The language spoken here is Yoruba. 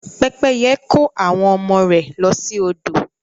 Pẹ́pẹ́yẹ kó àwọn ọmọ rẹ̀ lọ sí odò.